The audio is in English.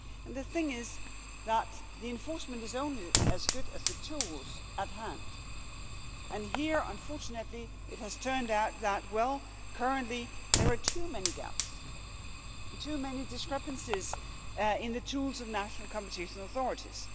The thing is that enforcement is only as good as the tools at hand and here unfortunately it has turned out that, well, currently there are too many gaps and too many discrepancies in the tools of national competition authorities.